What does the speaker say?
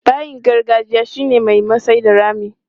Bayin gargajiya shi ne mai masai da rami.